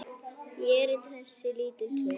í erindi þessi lítil tvö.